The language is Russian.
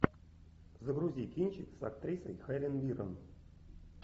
загрузи кинчик с актрисой хелен миррен